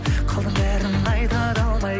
қалдым бәрін айта да алмай